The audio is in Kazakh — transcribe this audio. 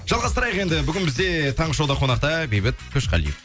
жалғастырайық енді бүгін бізде таңғы шоуда қонақта бейбіт қошқалиев